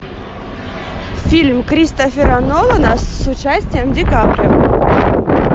фильм кристофера нолана с участием ди каприо